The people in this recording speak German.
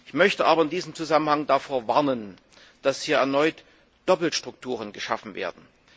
Ich möchte aber in diesem Zusammenhang davor warnen, dass hier erneut Doppelstrukturen geschaffen werden.